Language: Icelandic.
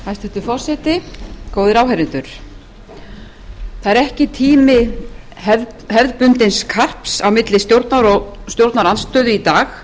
hæstvirtur forseti góðir áheyrendur það er ekki tími hefðbundins karps á milli stjórnar og stjórnarandstöðu í dag